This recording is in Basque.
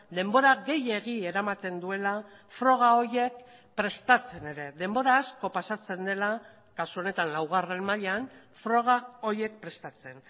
denbora gehiegi eramaten duela froga horiek prestatzen ere denbora asko pasatzen dela kasu honetan laugarren mailan froga horiek prestatzen